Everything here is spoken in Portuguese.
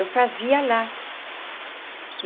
Eu fazia lá.